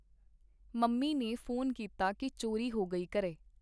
Mummy ਨੇ phone ਕੀਤਾ ਕੀ ਚੋਰੀ ਹੋ ਗਈ ਘਰੇ.